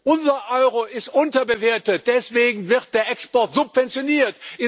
Unser Euro ist unterbewertet, deswegen wird der Export subventioniert.